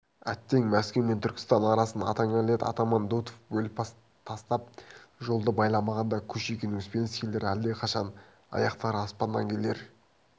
әттең мәскеу мен түркістан арасын атаңа нәлет атаман дутов бөліп тастап жолды байламағанда кушекин-успенскийлер әлдеқашан аяқтары аспаннан келер